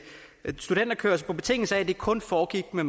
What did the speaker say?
studenterkørsel på betingelse af at det kun foregik med